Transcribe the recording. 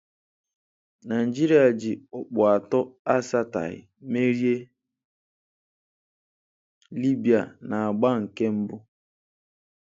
Naịjirịa ji ọkpụ atọ asataghi merie Libya na-agba nke mbụ.